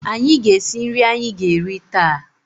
Anyị ga-esi nri anyị ga-eri taa.